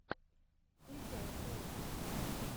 включай слэшер